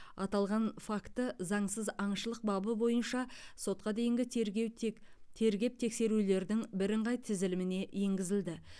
аталған факті заңсыз аңшылық бабы бойынша сотқа дейінгі тергеп тек тергеп тексерулердің бірыңғай тізіліміне енгізілді